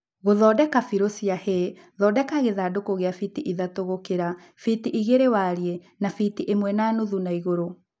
Guthondeka bĩru cia hay, thondeka gĩthandũkũ kĩa fiti ithatũ gũkira, fiti igĩlĩ warie na fiti ĩmwe na nuthu naigũrũ